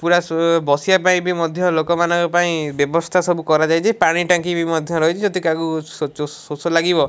ପୁରା ଶୁ ବସିବା ପାଇଁ ବି ମଧ୍ୟ ଲୋକମାନଙ୍କ ପାଇଁ ବ୍ୟବସ୍ଥା ସବୁ କରା ଯାଇଛି ପାଣି ଟାଙ୍କି ବି ମଧ୍ୟ ରହିଛି ଯଦି କାହାକୁ ସୋ ଚୋସ ଶୋଷ ଲାଗିବ --